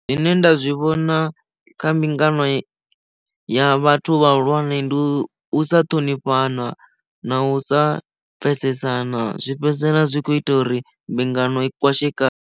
Zwine nda zwi vhona kha mbingano ya vhathu vhahulwane ndi u sa ṱhonifhana na u sa pfesesana zwi fhedzisela zwi kho ita uri mbingano i kwashekane.